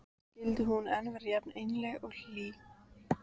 Skyldi hún enn vera jafn einlæg og hlý?